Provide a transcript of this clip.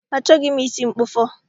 Achọghị m isi mkpụfọ